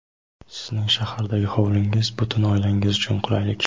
Sizning Shahardagi Hovlingiz - butun oilangiz uchun qulaylik!.